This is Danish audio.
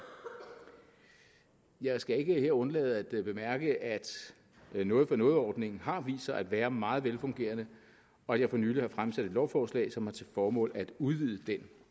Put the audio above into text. jeg skal ikke her undlade at bemærke at noget for noget ordningen har vist sig at være meget velfungerende og her for nylig har jeg fremsat et lovforslag som har til formål at udvide den